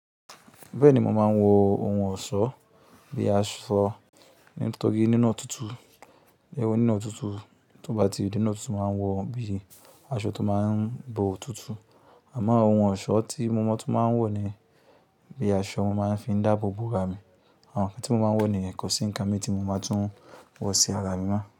Bẹ́ẹ̀ni, mo máa ń wọ ohun ọ̀ṣọ́ bíi aṣọ nítorí nínú òtútù. Ẹ̀wọ̀ nínú òtútù, tó bá ti di nínú òtútù mo máa nwọ̀ bíi aṣọ tó máa ń bo òtútù. Àmọ́ ohun ọ̀ṣọ́ tí mo mọ̀ tún máa ń wọ̀ ni bí i aṣọ, mo máa ń fi dáàbò bò ra mi. Àwọn nkán tí mo máa ń wọ̀ nìyen kọ́ sí nǹkan mi tí mo máa tún wọ̀ sí ara mi mọ́